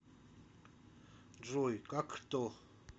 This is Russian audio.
джой как кто